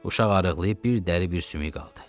Uşaq arıqlayıb bir dəri, bir sümük qaldı.